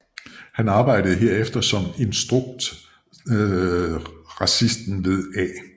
Han arbejdede herefter som instruktrassisten ved A